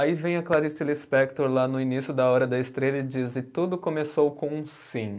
Aí vem a Clarice Lispector lá no início da Hora da Estrela e diz, e tudo começou com um sim.